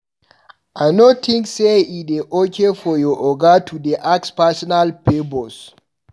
I no tink say e dey okay for your oga to dey ask personal favours.